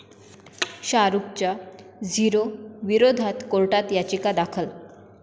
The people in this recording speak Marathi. शाहरुखच्या 'झीरो' विरोधात कोर्टात याचिका दाखल